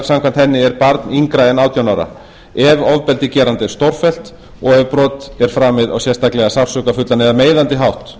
samkvæmt henni er barn yngra en átján ára ef ofbeldi geranda er stórfellt og ef brot er framið á sérstaklega sársaukafullan eða meiðandi hátt